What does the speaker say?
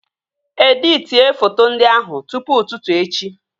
Editie foto ndị ahụ tụpụ ụtụtụ echi!